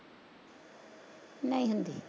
ਨਹੀਂ ਹੁੰਦੀ